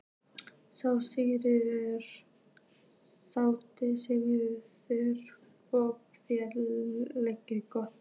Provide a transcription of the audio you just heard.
SÉRA SIGURÐUR: Og þeir létu gott heita?